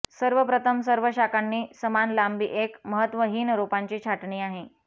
सर्वप्रथम सर्व शाखांची समान लांबी एक महत्वहीन रोपांची छाटणी आहे